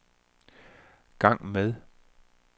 gang med